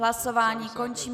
Hlasování končím.